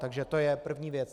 Takže to je první věc.